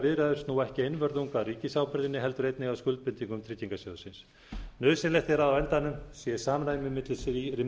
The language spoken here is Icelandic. viðræður snúa ekki einvörðungu að ríkisábyrgðinni heldur einnig að skuldbindingum tryggingarsjóðsins nauðsynlegt er að á endanum sé samræmi